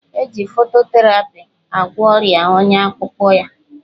Eji fototerapi agwọ ọrịa ọnya akpụkpọ ya